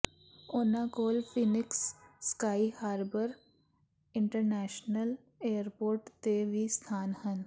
ਉਨ੍ਹਾਂ ਕੋਲ Phoenix Sky Harbor International Airport ਤੇ ਵੀ ਸਥਾਨ ਹਨ